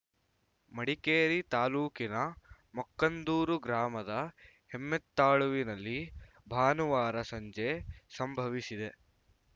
ಮಡಿಕೇರಿ ತಾಲೂಕಿನ ಮಕ್ಕಂದೂರು ಗ್ರಾಮದ ಹೆಮ್ಮೆತ್ತಾಳುವಿನಲ್ಲಿ ಭಾನುವಾರ ಸಂಜೆ ಸಂಭವಿಸಿದೆ